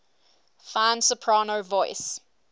fine soprano voice